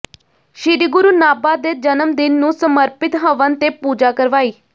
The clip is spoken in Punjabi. ਸ੍ਰੀ ਗੁਰੂ ਨਾਭਾ ਦੇ ਜਨਮ ਦਿਨ ਨੂੰ ਸਮਰਪਿਤ ਹਵਨ ਤੇ ਪੂਜਾ ਕਰਵਾਈ